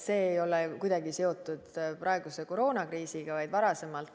See ei ole kuidagi seotud praeguse koroonakriisiga, vaid varasema.